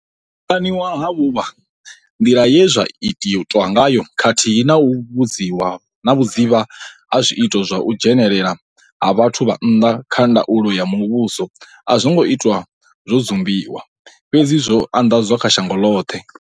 U ṱaniwa ha vhuvha, nḓila ye zwa itwa ngayo khathihi na vhudzivha ha zwiito zwa u dzhenelela ha vhathu vha nnḓa kha ndaulo ya muvhuso a zwo ngo itwa zwo dzumbiwa, fhedzi zwo anḓadzwa kha shango ḽoṱhe.